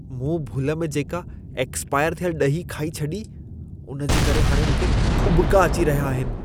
मूं भुल में जेका एक्स्पायर थियल ॾही खाई छॾी, उन जे करे हाणे मूंखे उॿिका अची अहिया आहिनि।